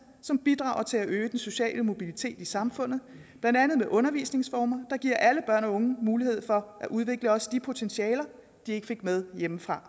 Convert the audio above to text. som bidrager til at øge den sociale mobilitet i samfundet blandt andet med undervisningsformer der giver alle børn og unge muligheder for at udvikle også de potentialer de ikke fik med hjemmefra